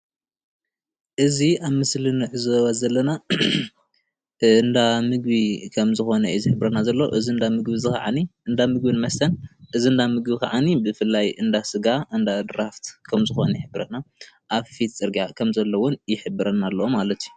እዚ ኣብ ምስሊ እንዕዘቦ ዘለና እንዳ ምግቢ ከም ዝኮነ እዩ ዝሕብረልና ዘሎ፡፡ እዚ እንዳ ምግቢን ከዓኒ እዚ እንዳ ምግቢን መስተን እዚ እንዳ ምግብን መስተን ከዓኒ ብፍላይ እንዳ ስጋ እንዳ ድራፍት ከም ዝኮነ ይሕብረና ኣብ ፊት ፅርግያ ከም ዘሎ እውን ይሕብረና ኣሎ ማለት እዩ፡፡